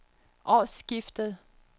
årsskiftet